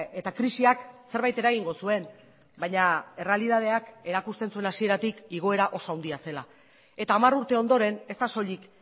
eta krisiak zerbait eragingo zuen baina errealitateak erakusten zuen hasieratik igoera oso handia zela eta hamar urte ondoren ez da soilik